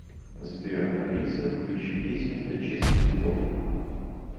сбер алиса включи песню для чистки зубов